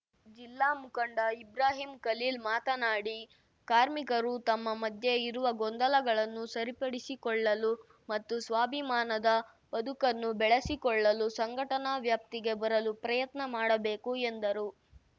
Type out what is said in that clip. ಜಿಲ್ಲಾ ಮುಖಂಡ ಇಬ್ರಾಹಿಂ ಖಲೀಲ್ ಮಾತನಾಡಿ ಕಾರ್ಮಿಕರು ತಮ್ಮ ಮಧ್ಯೆ ಇರುವ ಗೊಂದಲಗಳನ್ನು ಸರಿಪಡಿಸಿಕೊಳ್ಳಲು ಮತ್ತು ಸ್ವಾಭಿಮಾನದ ಬದುಕನ್ನು ಬೆಳೆಸಿಕೊಳ್ಳಲು ಸಂಘಟನಾ ವ್ಯಾಪ್ತಿಗೆ ಬರಲು ಪ್ರಯತ್ನ ಮಾಡಬೇಕು ಎಂದರು